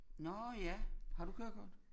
Nåh ja har du kørekort?